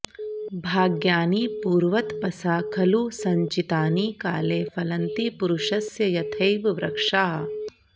भाग्यानि पूर्वतपसा खलु सञ्चितानि काले फलन्ति पुरुषस्य यथैव वृक्षाः